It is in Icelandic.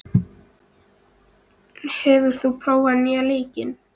Valkyrja, hefur þú prófað nýja leikinn?